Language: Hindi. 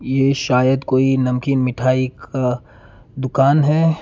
ये शायद कोई नमकीन मिठाई का दुकान है।